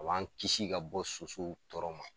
A b'an kisi ka bɔ sosow tɔɔrɔ ma.